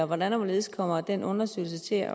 hvordan og hvorledes kommer den undersøgelse til